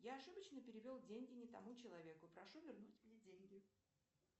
я ошибочно перевел деньги не тому человеку прошу вернуть мне деньги